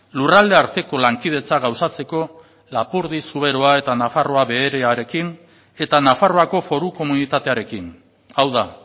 lurralde arteko lankidetza gauzatzeko lapurdi zuberoa eta nafarroa beherearekin eta nafarroako foru komunitatearekin hau da